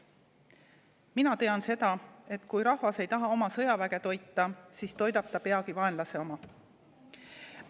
Mina tean seda, et kui rahvas ei taha toita oma sõjaväge, siis toidab ta peagi vaenlase oma.